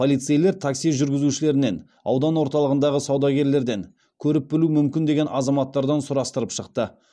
полицейлер такси жүргізушілерінен аудан орталығындағы саудагерлерден көріп білуі мүмкін деген азаматтардан сұрастырып шықты